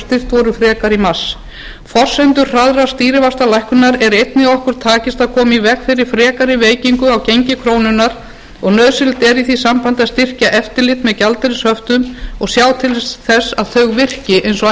studd voru frekar í mars forsendur hraðrar stýrivaxtalækkunar er einnig að okkur takist að koma í veg fyrir frekari veikingu á gengi krónunnar og nauðsynlegt er í því sambandi að styrkja eftirlit með gjaldeyrishöftum og sjá til þess að þau virki eins og